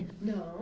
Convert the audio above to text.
Não.